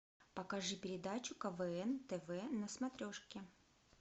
покажи передачу квн тв на смотрешке